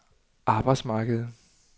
arbejdsmarkedet